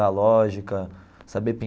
A lógica saber